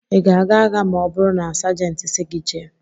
Ị ga-aga agha ma ọ bụrụ na Sajentị sị gị jee?